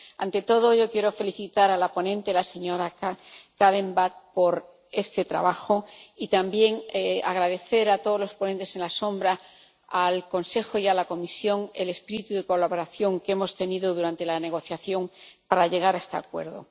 Ante todo quiero felicitar a la ponente, la señora Kadenbach, por este trabajo y también, agradecer a todos los ponentes alternativos, al Consejo y a la Comisión el espíritu de colaboración que hemos tenido durante la negociación para llegar a este acuerdo.